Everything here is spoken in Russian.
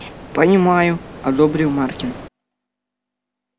понимаю одобрил маркин